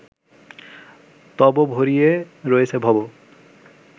তব ভরিয়ে রয়েছে ভব